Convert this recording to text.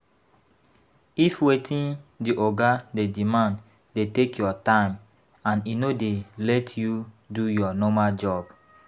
If wetin di oga dey demand dey take your time and e no dey let you do your normal job